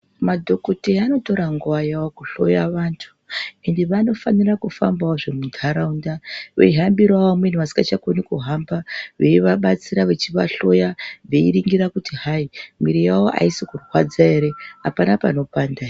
Madhokoteya anotora nguwa yawo kuhloya vantu, ende vanofanira kufambawozve muntaraunda veihambirawo vamweni vasingachakoni kuhamba. Veivabatsira, vechivahloya, veiningira kuti hayi mwiiri yawo haisi kurwadza here, hapana panopanda here